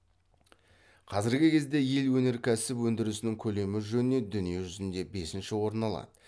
қазіргі кезде ел өнеркәсіп өндірісінің көлемі жөнінен дүние жүзінде бесінші орын алады